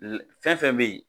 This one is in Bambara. Fɛn fɛn be yen